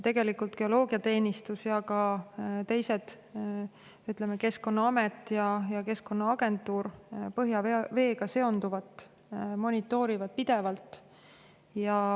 Tegelikult monitoorivad geoloogiateenistus ja ka teised, näiteks Keskkonnaamet ja Keskkonnaagentuur, põhjaveega seonduvat pidevalt.